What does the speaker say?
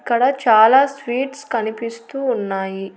ఇక్కడ చాలా స్వీట్స్ కనిపిస్తూ ఉన్నాయి.